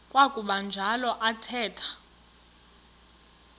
kwakuba njalo athetha